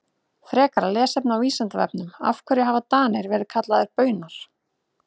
Frekara lesefni á Vísindavefnum Af hverju hafa Danir verið kallaðir Baunar?